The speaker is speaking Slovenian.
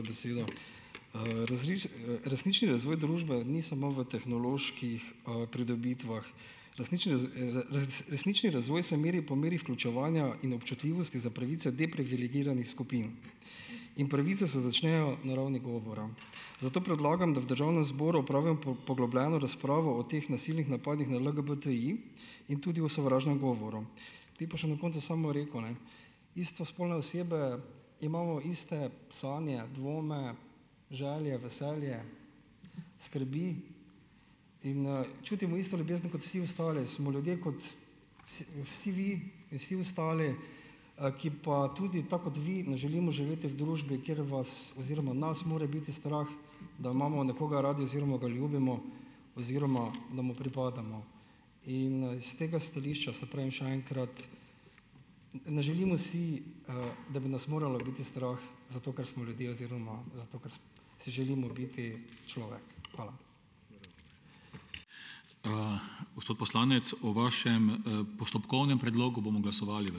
besedo. resnični razvoj družbe ni samo v tehnoloških, pridobitvah, resnični razvoj se meri po meri vključevanja in občutljivosti za pravice deprivilegiranih skupin. In pravice se začnejo na ravni govora, zato predlagam, da v državnem zboru opravi poglobljeno razpravo o teh nasilnih napadih na LGBTI in tudi o sovražnem govoru. Bi pa še na koncu samo rekel, ne: istospolne osebe imamo iste sanje, dvome, želje, veselje skrbi in, čutimo isto ljubezen kot vsi ostali. Smo ljudje kot vsi vi in vsi ostali, ki pa tudi, tako kot vi, ne želimo živeti v družbi, kjer vas oziroma nas mora biti strah, da imamo nekoga radi oziroma ga ljubimo oziroma da mu pripadamo. In, s tega stališča, saj pravim, še enkrat - ne želimo si, da bi nas moralo biti strah zato, ker smo ljudje, oziroma zato, ker si, si želimo biti človek. Hvala.